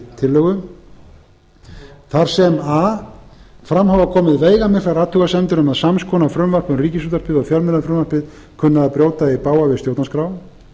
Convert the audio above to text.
tillögu þar sem a fram hafa komið veigamiklar athugasemdir um að sams konar frumvarp um ríkisútvarpið og fjölmiðlafrumvarpið kunni að brjóta í bága við stjórnarskrá